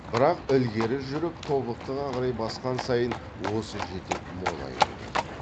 бірақ ілгері жүріп тобықтыға қарай басқан сайын осы жетек молая берді